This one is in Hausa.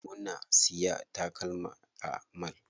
Muna siya takalma a mall.